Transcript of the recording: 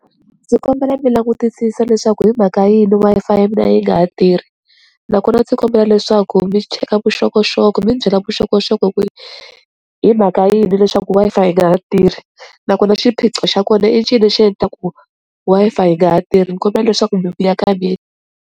Ndzi kombela mi langutisisa leswaku hi mhaka yini Wi-Fi ya mina yi nga ha tirhi nakona ndzi kombela leswaku mi cheka vuxokoxoko mi ni byela vuxokoxoko ku hi mhaka yini leswaku Wi-Fi yi nga ha tirhi nakona xiphiqo xa kona i ncini xi endlaku ku Wi-Fi yi nga ha tirhi ni kombela leswaku mi vuya ka mina.